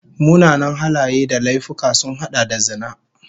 Munanan halaye da laifuka sun hada da zina